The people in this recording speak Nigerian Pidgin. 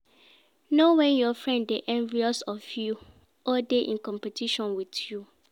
Know when your friend de envious of you or de in competition with you